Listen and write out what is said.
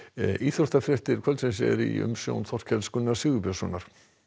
íþróttafréttir kvöldsins eru í umsjón Þorkels Gunnars Sigurbjörnssonar